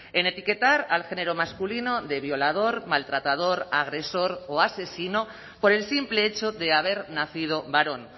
en etiquetar al género masculino de violador maltratador agresor o asesino por el simple hecho de haber nacido varón